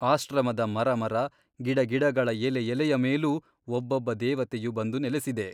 ಆಶ್ರಮದ ಮರಮರ ಗಿಡಗಿಡಗಳ ಎಲೆಎಲೆಯ ಮೇಲೂ ಒಬ್ಬೊಬ್ಬ ದೇವತೆಯು ಬಂದು ನೆಲೆಸಿದೆ.